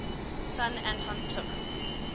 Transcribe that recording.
son anton took